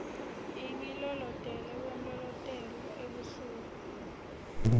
ingilolotele kwemlolotel ebusuku